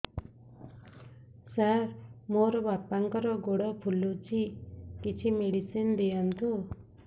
ସାର ମୋର ବାପାଙ୍କର ଗୋଡ ଫୁଲୁଛି କିଛି ମେଡିସିନ ଦିଅନ୍ତୁ